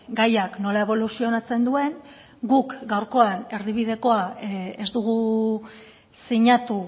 gaiak nola eboluzionatzen duen guk gaurkoan erdibidekoa ez dugu sinatu